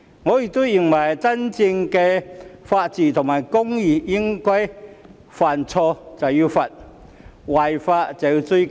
我亦認為真正的法治和公義應該是犯錯便要懲罰，違法便要追究。